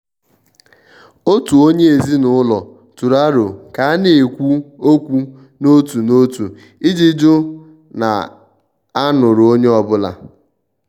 òtù onye ezinụlọ tụrụ aro ka a na-ekwu okwu n' òtù n'òtu iji jụ na a nụrụ onye ọ́bụ̀la.